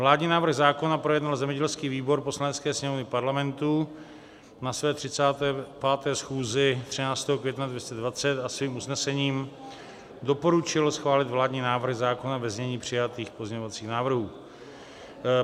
Vládní návrh zákona projednal zemědělský výbor Poslanecké sněmovny Parlamentu na své 35. schůzi 13. května 2020 a svým usnesením doporučil schválit vládní návrh zákona ve znění přijatých pozměňovacích návrhů.